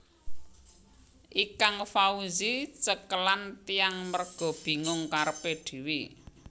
Ikang Fawzi cekelan tiang merga bingung karepe dhewe